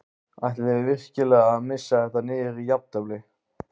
Ætlið þið virkilega að missa þetta niður í jafntefli?